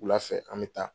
Wula fɛ an bɛ taa